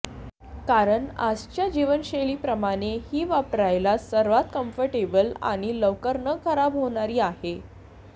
कारण आजच्या जीवनशैलीप्रमाणे ही वापरायला सर्वात कम्फर्टेबल आणि लवकर न खराब होणारी आहे